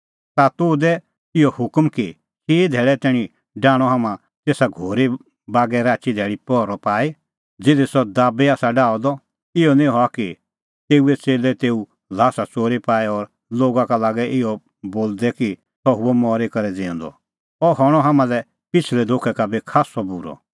ता तूह दै इहअ हुकम कि चिई धैल़ै तैणीं डाहणअ हाम्हां तेसा घोरी बागै राचीधैल़ी पहरअ पाई ज़िधी सह दाबी आसा डाहअ द इहअ निं हआ कि तेऊए च़ेल्लै तेऊए ल्हास च़ोरी पाए और लोगा का लागे इहअ बोलदै कि सह हुअ मरी करै ज़िऊंदअ अह हणअ हाम्हां लै पिछ़लै धोखै का बी खास्सअ बूरअ